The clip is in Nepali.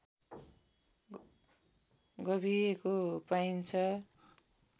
गाभिएको पाइन्छ